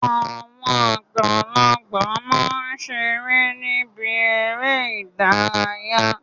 Àwọn àgbàlagbà ma ṣeré ni ibi eré ìdárayá.